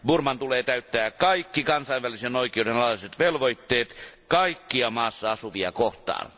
Burman tulee täyttää kaikki kansainvälisen oikeuden alaiset velvoitteet kaikkia maassa asuvia kohtaan.